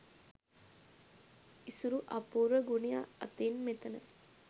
ඉසුරු අපූර්ව ගුණය අතින් මෙතන